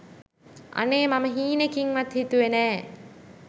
අනේ මම හීනකින්වත් හිතුවේ නෑ